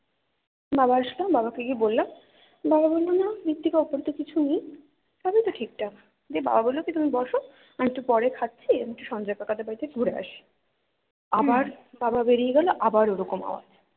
বাবা আসলো বাবা কে গিয়ে বললাম বাবা বললো না মৃত্তিকা ওপরে তো কিছু নেই সবই তো ঠিক ঠাক দিয়ে বাবা বললো কি তুমি বসো আমি একটু পরে খাচ্ছি সঞ্জয় কাকা দের বাড়ি তে ঘুরে আসি আবার বাবা বেরিয়ে গেলো আবার ওরকম আওয়াজ